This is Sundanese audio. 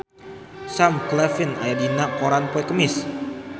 Sam Claflin aya dina koran poe Kemis